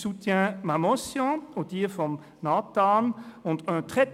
vous soutenez ma motion und jene von Nathan Güntensperger.